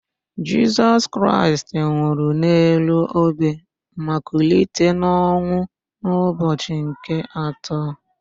Jisọs Kraịst nwụrụ n'elu obe ma kulite n'ọnwụ n'ụbọchị nke atọ.